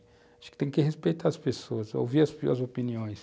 Acho que tem que respeitar as pessoas, ouvir as opiniões.